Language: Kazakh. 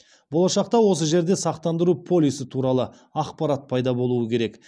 болашақта осы жерде сақтандыру полисі туралы ақпарат пайда болуы керек